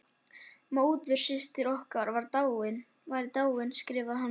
Móðursystir okkar væri dáin, skrifaði hann.